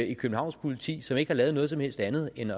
i københavns politi som ikke har lavet noget som helst andet end